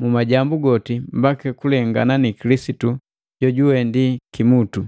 mu majambu goti mbaki kulengana ni Kilisitu jojuwe ndi kimutu,